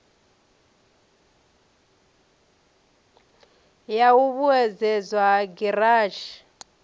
ya u vhuedzedzwa ha giranthi